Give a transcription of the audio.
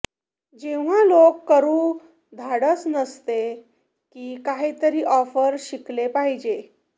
जेव्हा लोक करू धाडस नसते की काहीतरी ऑफर शिकले पाहिजे